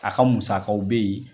A ka musakaw be yen